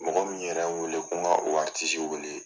Mɔgɔ min yɛrɛ n wele ko n ka o wele.